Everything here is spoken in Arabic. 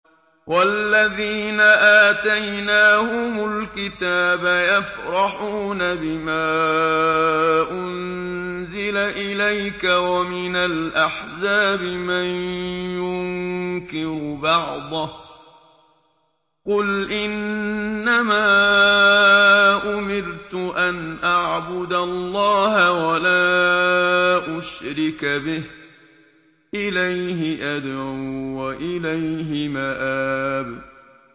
وَالَّذِينَ آتَيْنَاهُمُ الْكِتَابَ يَفْرَحُونَ بِمَا أُنزِلَ إِلَيْكَ ۖ وَمِنَ الْأَحْزَابِ مَن يُنكِرُ بَعْضَهُ ۚ قُلْ إِنَّمَا أُمِرْتُ أَنْ أَعْبُدَ اللَّهَ وَلَا أُشْرِكَ بِهِ ۚ إِلَيْهِ أَدْعُو وَإِلَيْهِ مَآبِ